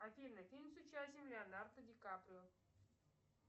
афина фильм с участием леонардо ди каприо